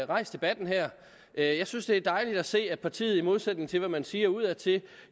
rejst debatten her jeg synes det er dejligt at se at partiet i modsætning til hvad man siger udadtil